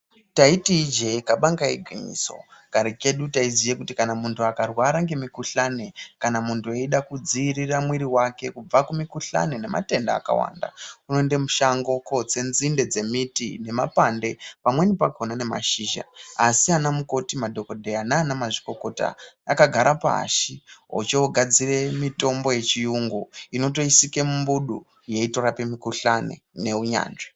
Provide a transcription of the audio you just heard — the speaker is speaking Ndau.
Taiti ijee kabanga igwinyiso kare kedu taiziye kuti kana munhu akarwara ngemukhuhlani kana muntu eide kudziirire mwiri wake kubva kumikhuhlani nematenda akawanda unoende mushango kootse dzinde dzemiti nemapande pamweni pakona nemashizha asi anamukoti ,madhokodheya nanamazvikokota vakagara pashi ochogadzire mitombo yechiyungu inotoisike mumbudu yeitorape mikhuhlane neunyanzvi.